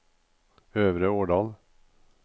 Øvre Årdal